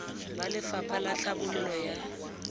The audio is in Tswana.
ba lefapha la tlhabololo ya